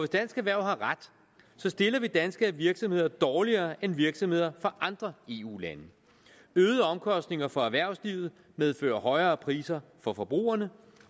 dansk erhverv har ret stiller vi danske virksomheder dårligere end virksomheder fra andre eu lande øgede omkostninger for erhvervslivet medfører højere priser for forbrugerne